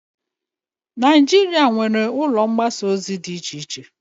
Najịrịa nwere ụlọ mgbasa ozi di iche iche